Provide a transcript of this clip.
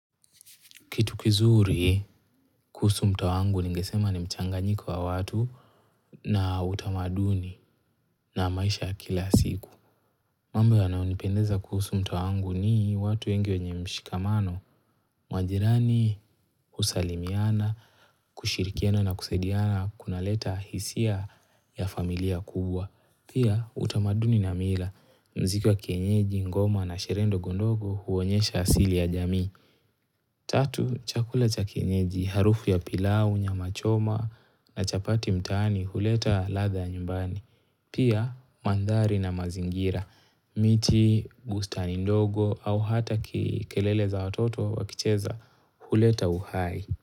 Kitu kizuri, kuhusu mtaa wangu ningesema ni mchanganyiko wa watu na utamaduni na maisha ya kila siku. Mambo yanayonipendeza kuhusu mtaa wangu ni watu wengi wenye mshikamano, majirani, husalimiana, kushirikiana na kusadiana, kunaleta hisia ya familia kubwa. Pia utamaduni na mila, muziki wa kienyeji, ngoma na sherehe ndogo ndogo huonyesha asili ya jamii. Tatu, chakula cha kienyeji, harufu ya pilau, nyama choma na chapati mtaani huleta ladha ya nyumbani. Pia mandhari na mazingira, miti, bustani ndogo au hata kelele za watoto wakicheza huleta uhai.